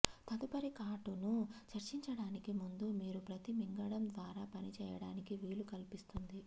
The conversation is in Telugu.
తదుపరి కాటును చర్చించడానికి ముందు మీరు ప్రతి మింగడం ద్వారా పని చేయడానికి వీలు కల్పిస్తుంది